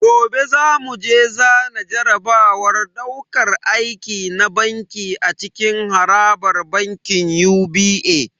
Gobe zamu je zana jarabawar dauƙar aiki na banki a cikin harabar bankin UBA